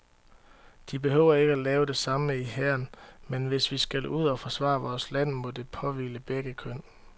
De behøver ikke at lave det samme i hæren, men hvis vi skal ud og forsvare vores land, må det påhvile begge køn.